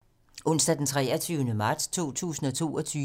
Onsdag d. 23. marts 2022